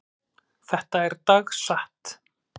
Þetta er dagsatt.